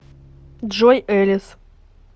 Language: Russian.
джой элис